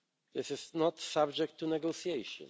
This is not subject to negotiation.